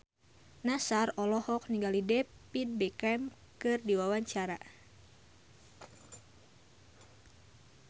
Nassar olohok ningali David Beckham keur diwawancara